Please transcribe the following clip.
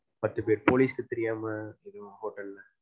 பத்து பேர். போலீஸ்க்கு தெரியாம எதுவும் ஹோட்டல்ல